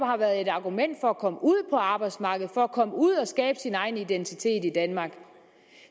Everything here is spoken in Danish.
har været et argument for at komme ud på arbejdsmarkedet for at komme ud at skabe sin egen identitet i danmark